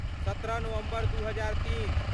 सत्रह नवम्बर दू हजार तीन